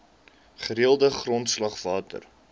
gereelde grondslag water